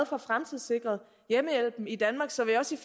får fremtidssikret hjemmehjælpen i danmark så vi også